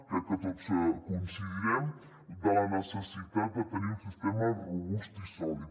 crec que tots devem coincidir en la necessitat de tenir un sistema robust i sòlid